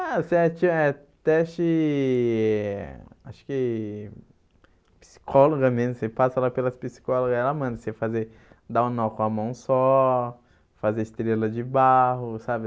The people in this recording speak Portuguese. Ah, você eh teste... Acho que... Psicóloga mesmo, você passa lá pelas psicólogas, aí ela manda você fazer dar um nó com a mão só, fazer estrela de barro, sabe?